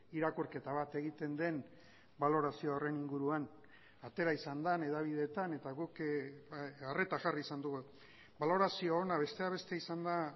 irakurketa bat egiten den balorazio horren inguruan atera izan da hedabideetan eta guk arreta jarri izan dugu balorazio ona besteak beste izan da